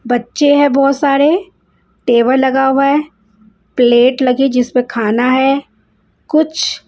बच्चे है बहोत सारे टेबल लगा हुआ है प्लेट लगी जिसमे खाना है कुच्छ--